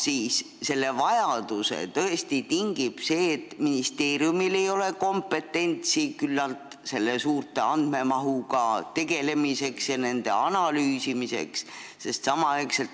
Kas selle vajaduse tingib tõesti see, et ministeeriumil ei ole küllalt kompetentsi sellise suure andmehulgaga tegelemiseks ja selle analüüsimiseks?